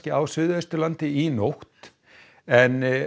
á Suðausturlandi í nótt en